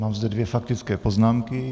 Mám zde dvě faktické poznámky.